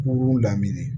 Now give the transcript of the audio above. Kun daminɛ